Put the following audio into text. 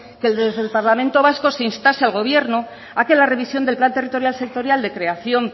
que desde el parlamento vasco se instase al gobierno a que la revisión del plan territorial sectorial de creación